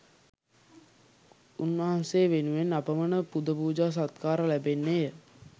උන්වහන්සේ වෙනුවෙන් අපමණ පුදපූජා සත්කාර ලැබෙන්නේ ය.